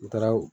N taara o